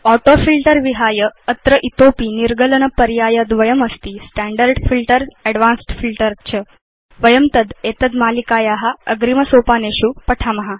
autofilter विहाय अत्र इतोऽपि निर्गलन पर्याय द्वयम् अस्ति स्टैण्डर्ड् फिल्टर एडवान्स्ड् फिल्टर च तद् वयम् एतद् मालिकाया अग्रिम सोपानेषु पठिष्याम